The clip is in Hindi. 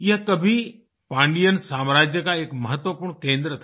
यह कभी पांडियन साम्राज्य का एक महत्वपूर्ण केंद्र था